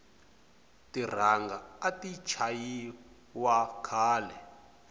tiranga ati chayi wa khale